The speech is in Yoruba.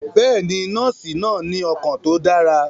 Bẹẹni, nọọsi naa ni ọkan ti o dara.